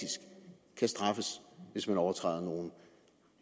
kan straffes hvis man overtræder nogle